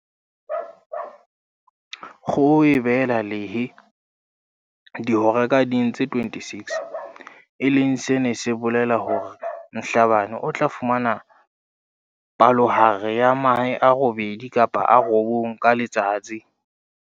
Kgoho e behela lehe dihora ka ding tse 26, e leng se neng se bolela hore Mhlabane o tla fumana palohare ya mahe a robedi kapa a robong ka letsatsi.